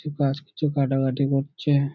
কিছু কাজ কিছু কাটাকাটি করছে।